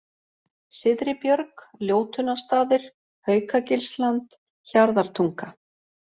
Syðri-Björg, Ljótunnarstaðir, Haukagilsland, Hjarðartunga